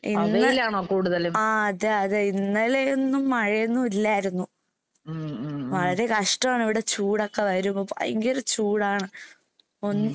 അഹ് വെയിലാണോ കൂടുതലും? ഉം ഉം ഉം. ഉം.